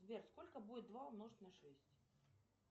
сбер сколько будет два умножить на шесть